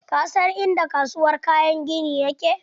Ka san inda kasuwar kayan gini yake?